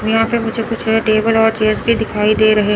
यहां पे मुझे कुछ ये टेबल और चेयर्स भी दिखाई दे रहे--